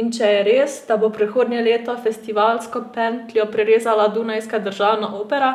In če je res, da bo prihodnje leto festivalsko pentljo prerezala Dunajska državna opera,